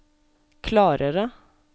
klarere